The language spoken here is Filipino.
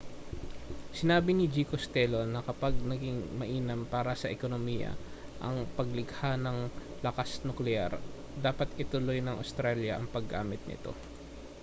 sinabi ni g costello na kapag naging mainam para sa ekonomiya ang paglikha ng lakas-nukleyar dapat ituloy ng australya ang paggamit nito